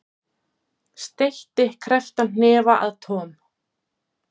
Steytti krepptan hnefa að Tom.